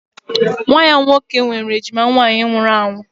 Nwa ya nwoke nwere ejima nwaanyị nwụrụ anwụ